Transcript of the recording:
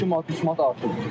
2 manat 3 manat artıb.